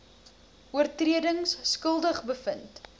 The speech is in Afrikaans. oortredings skuldig bevind